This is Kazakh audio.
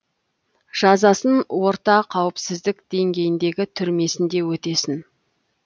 жазасын орта қауіпсіздік деңгейіндегі түрмесінде өтесін